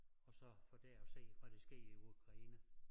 Og så få det at se hvad der sker i Ukraine